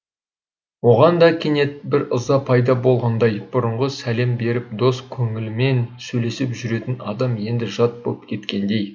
оған да кенет бір ыза пайда болғандай бұрынғы сәлем беріп дос көңілімен сөйлесіп жүретін адам енді жат боп кеткендей